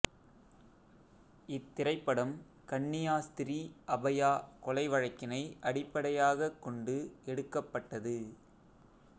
இத்திரைப்படம் கன்னியாஸ்திரி அபயா கொலை வழக்கினை அடிப்பைடையாகக் கொண்டு எடுக்கப்பட்டது